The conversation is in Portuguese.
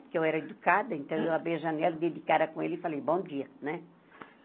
Porque eu era educada, então eu abri a janela, dei de cara com ele e falei, bom dia, né?